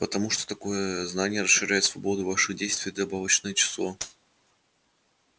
потому что такое знание расширяет свободу ваших действий и добавочное число